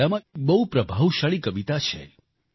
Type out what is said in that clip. બાંગ્લામાં એક બહુ પ્રભાવશાળી કવિતા છે